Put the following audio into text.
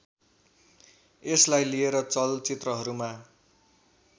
यसलाई लिएर चलचित्रहरूमा